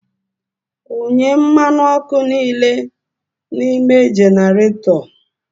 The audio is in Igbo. Wunye mmanụ ọkụ niile n'ime generator!